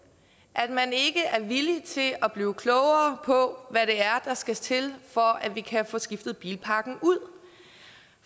at man ikke er villig til at blive klogere på hvad det er der skal til for at vi kan få skiftet bilparken ud